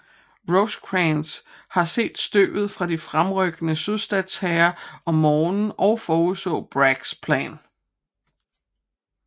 Rosecrans havde set støvet fra de fremrykkende sydstatshære om morgenen og forudså Braggs plan